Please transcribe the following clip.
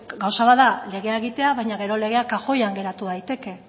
gauza bat da legea egitea baina gero legea kajoian geratu daiteke